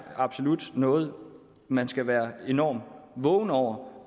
absolut noget man skal være enormt vågen over